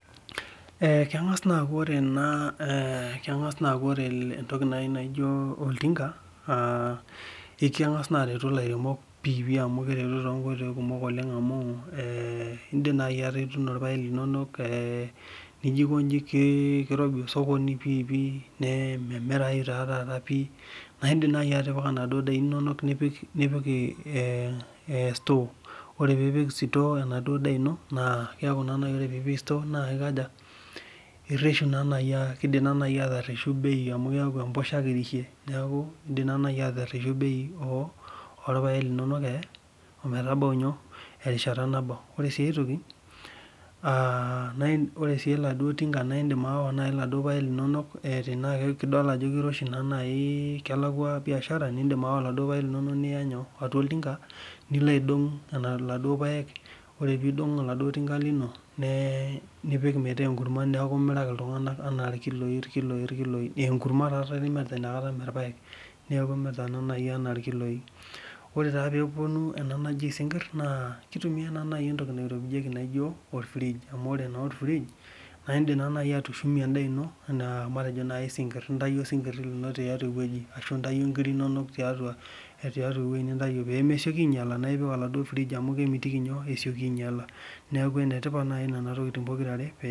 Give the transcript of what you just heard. Ee kengas aaku ore entoki naijo oltinga kemgasa arwtu lairemok amu kwretu tonkoitoi kumok amu indim nai atuuno irpaek linono nijo aikonji kirobi osokoni nememirai nai meaku indim nai atimira enaduo daa ino nipik sitoo na keaku nai ore pipik sitoo na kidim ani atereshu bei orpaek linono ometabau erishata nabau ore nai eletinga na indim niya irpaek linonok tenidol ajo kiroshi oleng kelakwa biashara nilobaidong ore pilo aidong nilo aidong neaku imiraki ltunganak tonkiloi enkurma imirita inakata meeirpaek ore peponu kuna nijo sinkir na kitumia entoki naijo orrrige amu indik nai atushumie endaa ino matejo intauo sinkir linono tiatua ewoi ashu nkirik inono pemesioki ainyala nipik oladuo frige amu kemitiki inyala neaku enetipat nai nonatokitin pokira are